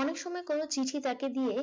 অনেক সময় কোন চিঠি তাকে দিয়ে